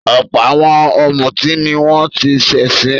Ọ̀pọ̀ àwọn ọ̀mútí ni wọ́n ti ṣẹ̀sín.